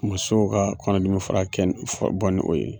Musow ka kɔnɔdimi fara kɛ bɔ ni o ye